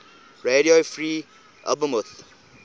radio free albemuth